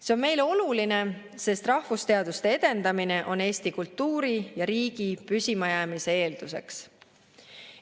See on meile oluline, sest rahvusteaduste edendamine on Eesti kultuuri ja riigi püsimajäämise eelduseks.